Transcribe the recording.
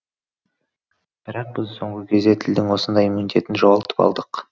бірақ біз соңғы кезде тілдің осындай иммунитетін жоғалтып алдық